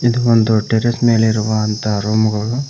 ಇದು ಒಂದು ಟೆರೇಸ್ ಮೇಲಿರುವಂತಹ ರೂಮುಗಳು.